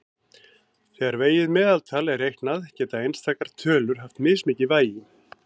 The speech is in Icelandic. Þegar vegið meðaltal er reiknað geta einstakar tölur haft mismikið vægi.